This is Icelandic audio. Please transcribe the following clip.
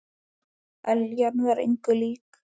Eljan var engu lík.